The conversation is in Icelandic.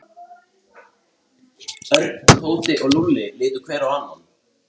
Þegar þangað er komið blasir sjálfur jökullinn við framundan.